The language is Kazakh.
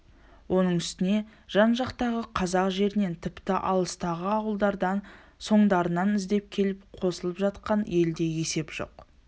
оның үстіне жан-жақтағы қазақ жерінен тіпті алыстағы ауылдардан соңдарынан іздеп келіп қосылып жатқан елде есеп жоқ